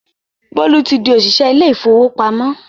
Bólú ti di òṣìṣẹ́ ilé ìfowópamọ́